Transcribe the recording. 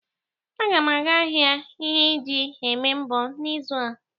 Agam aga ahia ihe e ji eme mbọ n'izu a.